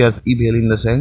कैफ इ --